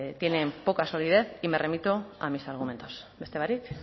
tienen poca solidez y me remito a mis argumentos beste barik